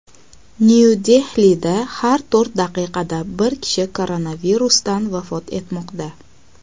Nyu-Dehlida har to‘rt daqiqada bir kishi koronavirusdan vafot etmoqda.